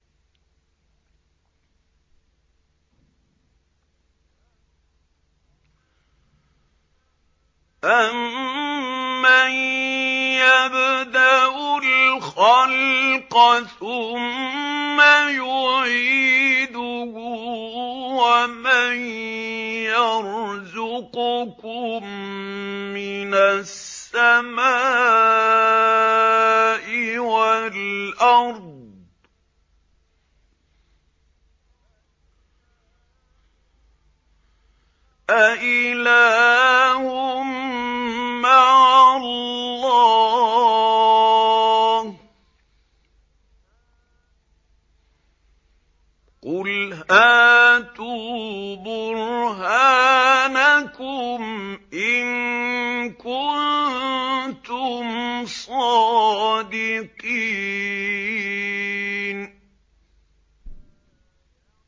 أَمَّن يَبْدَأُ الْخَلْقَ ثُمَّ يُعِيدُهُ وَمَن يَرْزُقُكُم مِّنَ السَّمَاءِ وَالْأَرْضِ ۗ أَإِلَٰهٌ مَّعَ اللَّهِ ۚ قُلْ هَاتُوا بُرْهَانَكُمْ إِن كُنتُمْ صَادِقِينَ